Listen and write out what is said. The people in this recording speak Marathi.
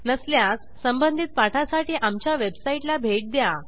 नसल्यास संबंधित पाठासाठी आमच्या वेबसाईटला भेट द्या